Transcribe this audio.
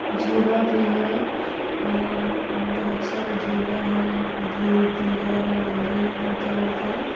झूला भी है बहुत सारा झूला है ब्लू पीला नारंगी हर कलर का--